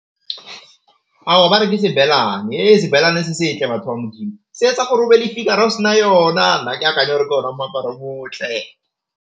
Ao ba re ke sebelane sebelane se setle batho ba modimo, se etsa o be fikara o sena yona. Nna ke gore ke ona moaparo o motle.